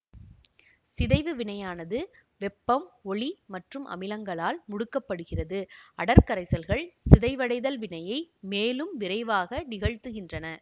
சிதைவு வினையானது வெப்பம் ஒளி மற்றும் அமிலங்களால் முடுக்கப்படுகிறது அடர் கரைசல்கள் சிதைவடைதல் வினையை மேலும் விரைவாக நிகழ்த்துகின்றன